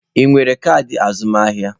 Ị nwere kaadị azụmahịa?